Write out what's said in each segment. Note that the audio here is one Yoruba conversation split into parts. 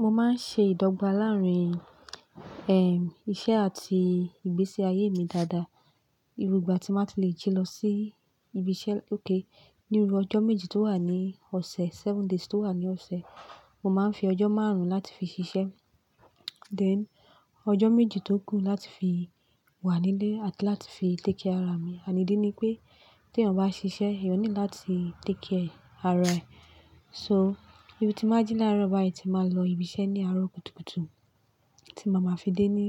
Mo máa ń ṣe ìdọ́gba láàárín, ehn, iṣẹ́ àti ìgbésí ayé mi dáadáa. Irú ìgbà tí màá ti le jí lọ sí ibi iṣẹ́ ókè níbi ọjọ́ méjì tó wà ní ọ̀sẹ̀, seven days tó wà ní ọ̀sẹ̀. Mo máa ń fi ọjọ́ márùn-ún láti fi ṣiṣẹ́, then ọjọ́ méjì tó kù láti fi wà nílé àti láti fi take care ara mi. Ànídí ni pé tí ẹ̀yàn bá ṣiṣẹ́, ìyẹn ní láti take care ara ẹ. So, bí mo ti máa jí lárọ̀ báyìí tí màá lọ ibi iṣẹ́ ní àárọ̀ kùtùkùtù tí màá ma fi dé ní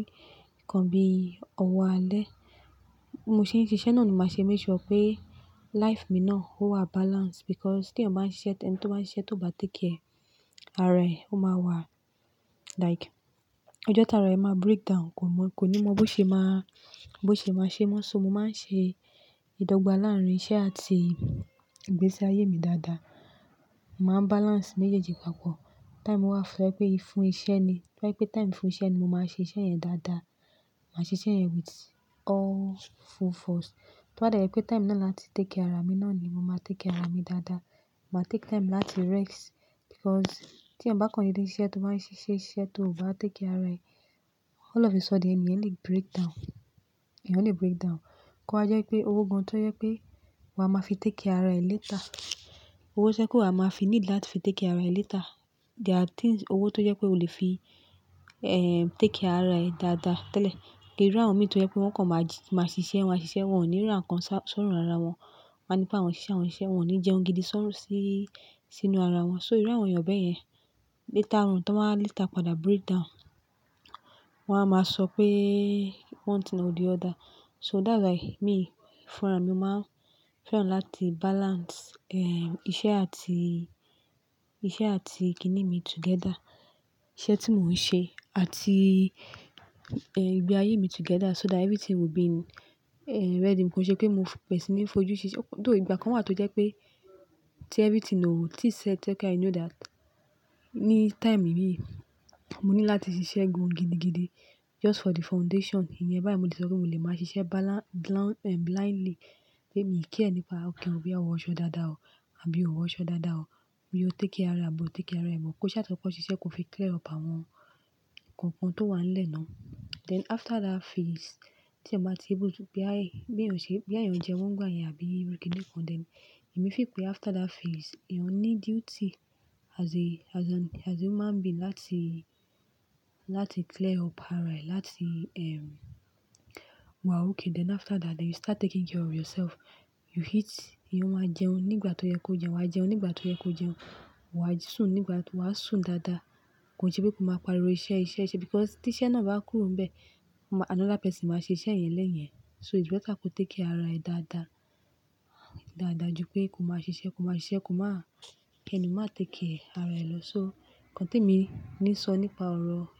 ìkan bíi ọwọ́ alẹ́. Mo ṣe ń ṣiṣẹ́ náà ni màá ṣe make sure pé life mi náà ó wà balance because tí ẹ̀yàn bá ń ṣiṣẹ́, ẹni tí ó ń ṣiṣẹ́ tó bá take care ara ẹ, ó máa wà like ọjọ́ tààrà ẹ máa breakdown. Ko mọ, kò ní mọ bó ṣe máa, bó ṣe máa ṣe. Mọ́ ṣé mo máa ń ṣe ìdọ́gba láàárín iṣẹ́ àti ìgbésí ayé mi dáadáa. Màá balance méjèèjì papọ̀. Time wà fún ẹ pé ìfun ìṣe ni, bíi ẹ pé time fún ìṣe ni, mo máa ṣe iṣẹ́ yẹn dáadáa. Màá ṣe iṣẹ́ yẹn with all full force. Toba dẹ jẹ pé time náà láti take care ara mi náà ni, mo máa take care ara mi dáadáa. Màá take time láti rest because tí ẹ̀yàn bá kan dede sise tó máa ń ṣe iṣẹ́ iṣẹ́ tó ò bá take care ara ẹ, all of a sudden ènìyàn le breakdown. Ẹ̀yàn le breakdown. Kó ha jẹ́ pé owó gan-an tó yẹ pé wa máa fi take care ara ẹ later. Owó ṣẹ́ kó wa máa fi need láti fi take care ara ẹ later. There are things, owó tó jẹ́ pé o le fi, ehn, take care ara ẹ dáadáa tẹ́lẹ̀. Gẹ́gẹ́ bí àwọn mìíràn tó yẹ pé wọ́n kọ̀n ji, máa ṣiṣẹ́, maa ṣiṣẹ́, wọn ò ní ràn kan sórun ara wọn. Wọ́n máa ní pé àwọn ṣiṣẹ́ àwọn siṣẹ́, wọn ò ní jẹun gidi sórí, sínú ara wọn. So irú àwọn ènìyàn bẹ́ẹ̀ yẹn later on tí wọ́n bá later pada breakdown, wọ́n á máa sọ pé one thing or the other. So that's why mi fúnra mi mó máa fẹ́ràn láti balance, ehn, iṣẹ́ àti, iṣẹ́ àti ìkíni mi together. Iṣẹ́ tí mò ń ṣe àti, ehn, ìgbé ayé mi together so that everything will be, ehn, ready. Kò ṣe pé mo pẹ̀sìn ní fojú ṣiṣẹ́. Though ìgbà kan wà tó jẹ́ pé tí everything o, ti set ẹ kẹ́ I know that ní time yìí, mo ní láti ṣiṣẹ́ gan-an gidigidi just for the foundation. Ìyẹn báyìí mo ti sọ pé mò lè máa ṣiṣẹ́ bala-bla-blindly pé mi kì í care nípa okè ọwọ́ ọ̀ṣọ́ dáadáa o àbí òwọ̀ ọ̀ṣọ́ dáadáa o, bí o take care abo take care ẹ bọ̀. Ko sá tó kọ ṣiṣẹ́ kó fi clear up àwọn nǹkan kan tó wà nílẹ̀ náà. Then after that phase, tí ẹ bá ti gbó bí àyè, bí ẹ̀yàn ṣe, bí àyàn jẹ wọ́n gbà yẹn àbí ìrírí kankan then èmi fi pé after that phase ìyẹn ní duty as a, as an, as a human being láti, láti clear up ara ẹ, láti, ehn, wà okay. Then after that then you start taking care of yourself. You eat, ìyẹn wà jẹun nígbà tó yẹ kó jẹun, wà jẹun nígbà tó yẹ kó jẹun, wà sùn nígbà tó wà sùn dáadáa. Kò se pé kó máa pariwo iṣẹ́, iṣẹ́, iṣẹ́ because tí iṣẹ́ náà bá kúrò bẹ́ẹ̀, another person máa ṣe iṣẹ́ yẹn lẹ́yìn ẹ. So it's better kó take care ara ẹ dáadáa, dáadáa ju pé kó máa ṣiṣẹ́, kó máa ṣiṣẹ́, kó máa-- ẹni mó máa take care ara ẹ lọ. So kan tí mi ní sọ nípa ọ̀rọ̀